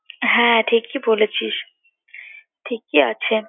হ্যাঁ ঠিকই বলেছিস, ঠিকই আছে।